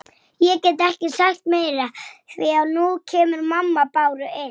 Vera sterk.